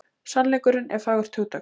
Sannleikurinn er fagurt hugtak.